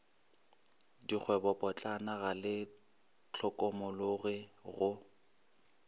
dikgwebopotlana ga le hlokomologwe go